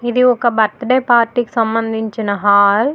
ఇది ఒక birthday party కి సంబందించిన హాల్ .